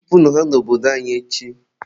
chụpụnụ ha n'obodo anyị echi!.